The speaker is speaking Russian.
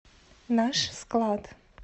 наш склад